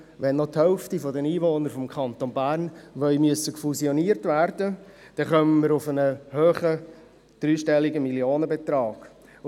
Wenn die Hälfte der Einwohner des Kantons Bern fusioniert werden sollen, wird uns das einen hohen dreistelligen Millionenbetrag kosten.